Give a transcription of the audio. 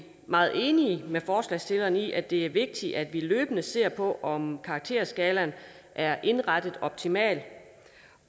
meget enige med forslagsstillerne i at det er vigtigt at vi løbende ser på om karakterskalaen er indrettet optimalt